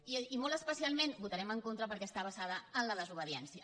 i molt especialment hi votarem en con·tra perquè està basada en la desobediència